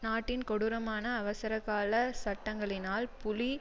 நாட்டின் கொடூரமான அவசரகால சட்டங்களினால் புலி